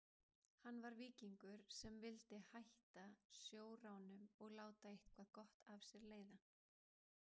Hann var víkingur sem vildi hætta sjóránum og láta eitthvað gott af sér leiða.